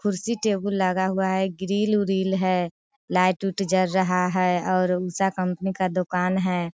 कुर्सी टेबुल लगा हुआ है ग्रिल उरील है लाईट उट जल रहा है और ऊषा कंपनी का दुकान हैं।